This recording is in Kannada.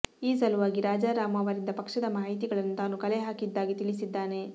ಈ ಸಲುವಾಗಿ ರಾಜಾರಾಮ್ ಅವರಿಂದ ಪಕ್ಷದ ಮಾಹಿತಿಗಳನ್ನು ತಾನು ಕಲೆ ಹಾಕಿದ್ದಾಗಿ ತಿಳಿಸಿದ್ದಾನೆ